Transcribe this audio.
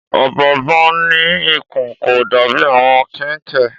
Ọ̀bọ̀ọ̀nbọọ̀n ní ikùn, kò dàbí àwọn kẹnkẹ.